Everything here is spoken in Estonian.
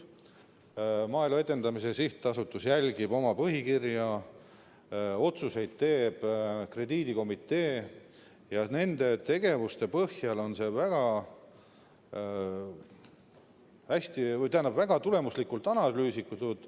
Maaelu Edendamise Sihtasutus järgib oma põhikirja, otsuseid teeb krediidikomitee ja nende tegevuste põhjal on see väga tulemuslikult analüüsitud.